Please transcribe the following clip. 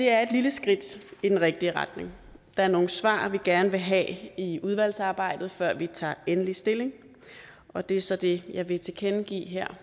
er et lille skridt i den rigtige retning der er nogle svar vi gerne vil have i udvalgsarbejdet før vi tager endelig stilling og det er så det jeg vil tilkendegive her